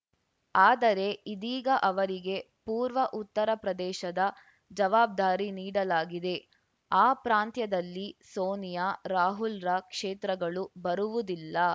ಆದರೆ ಇದೀಗ ಅವರಿಗೆ ಪೂರ್ವ ಉತ್ತರಪ್ರದೇಶದ ಜವಾಬ್ದಾರಿ ನೀಡಲಾಗಿದೆ ಆ ಪ್ರಾಂತ್ಯದಲ್ಲಿ ಸೋನಿಯಾ ರಾಹುಲ್‌ರ ಕ್ಷೇತ್ರಗಳು ಬರುವುದಿಲ್ಲ